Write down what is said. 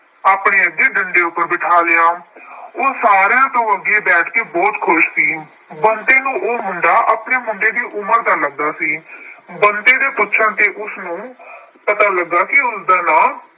ਆਪਣੇ ਅੱਗੇ ਡੰਡੇ ਉਪਰ ਬਿਠਾ ਲਿਆ। ਉਹ ਸਾਰਿਆਂ ਤੋਂ ਅੱਗੇ ਬੈਠ ਕੇ ਬਹੁਤ ਖੁਸ਼ ਸੀ। ਬੰਤੇ ਨੂੰ ਉਹ ਮੁੰਡਾ ਆਪਣੀ ਮੁੰਡੇ ਉਮਰ ਦਾ ਲੱਗਾ ਸੀ। ਬੰਤੇ ਨੂੰ ਪੁੱਛਣ ਤੇ ਉਸਨੂੰ ਪਤਾ ਲੱਗਾ ਕਿ ਉਸਦਾ ਨਾਮ